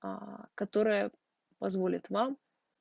аа которая позволит вам